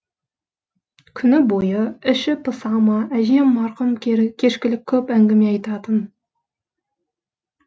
күні бой іші пыса ма әжем марқұм кешкілік көп әңгіме айтатын